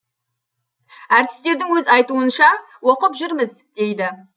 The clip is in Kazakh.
әртістердің өз айтуынша оқып жүрміз дейді